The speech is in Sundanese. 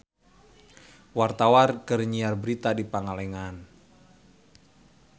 Wartawan keur nyiar berita di Pangalengan